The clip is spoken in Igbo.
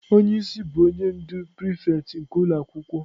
Onye isi bụ onye ndu prịfects nke ụlọ akwụkwọ.